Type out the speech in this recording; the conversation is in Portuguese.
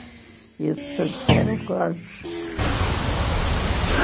Ia-se passear ao